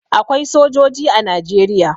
Akwai sojoji a Najeriya.